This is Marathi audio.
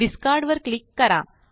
डिस्कार्ड वर क्लिक करा